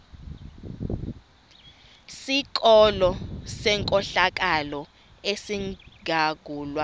sikolo senkohlakalo esizangulwa